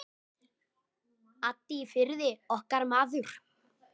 Addi í Firði, okkar maður.